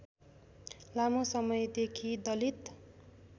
लामो समयदेखि दलित